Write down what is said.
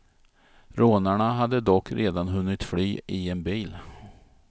Rånarna hade dock redan hunnit fly i en bil.